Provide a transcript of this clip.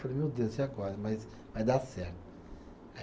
Falei, meu Deus, e agora, mas vai dar certo. Aí